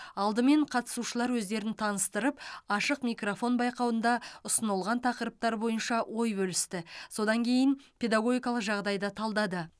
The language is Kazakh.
алдымен қатысушылар өздерін таныстырып ашық микрофон байқауында ұсынылған тақырыптар бойынша ой бөлісті содан кейін педагогикалық жағдайды талдады